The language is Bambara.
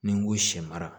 Ni n ko sɛ mara